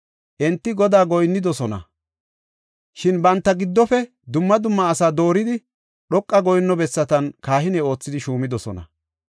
Enti Godaa goyinnidosona; shin banta giddofe dumma dumma asaa dooridi, dhoqa goyinno bessatan kahine oothidi shuumidosona.